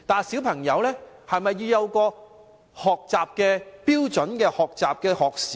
小孩是否也須設標準的學習時間呢？